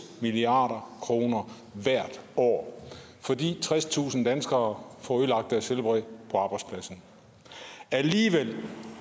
milliard kroner hvert år fordi tredstusind danskere får ødelagt deres helbred på arbejdspladsen alligevel